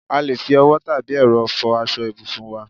A lè fi owó tàbí ẹ̀rọ fò aṣọ ibùsùn wá